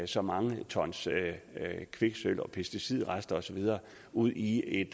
så mange tons kviksølv og pesticidrester og så videre ud i en